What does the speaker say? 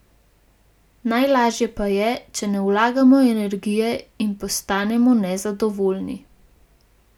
Najlažje pa je, če ne vlagamo energije in postanemo nezadovoljni.